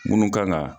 Munnu kan ga